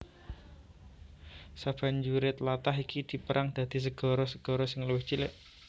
Sabanjuré tlatah iki dipérang dadi segara segara sing luwih cilik